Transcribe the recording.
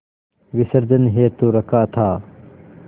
विसर्जन हेतु रखा था